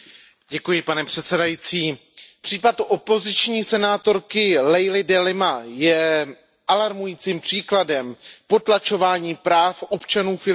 Pane předsedající, případ opoziční senátorky Leily De Lima je alarmujícím příkladem potlačování práv občanů Filipín.